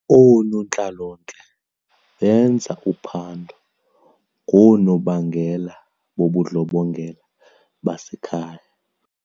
Oonontlalontle benza uphando ngoonobangela bobundlobongela basekhaya.